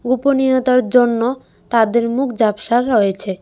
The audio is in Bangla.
গোপনীয়তার জন্য তাদের মুখ ঝাপসা রয়েছে।